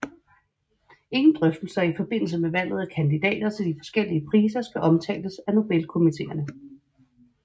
Ingen drøftelser i forbindelse med valget af kandidater til de forskellige priser skal omtales af Nobelkomiteerne